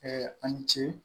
an ni ce